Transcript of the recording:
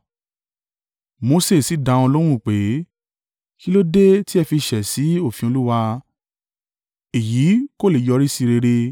Mose sì dá wọn lóhùn pé, “Kí ló dé tí ẹ fi ṣẹ̀ sí òfin Olúwa? Èyí kò le yọrí sí rere!